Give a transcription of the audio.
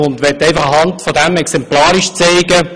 Anhand dieses Archivs möchte ich exemplarisch zeigen: